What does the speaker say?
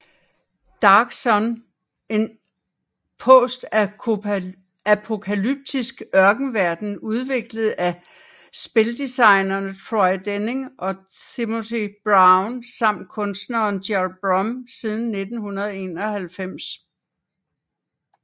Dark Sun En postapokalyptisk ørkenverden udviklet af spildesignerne Troy Denning og Timothy Brown samt kunstneren Gerald Brom siden 1991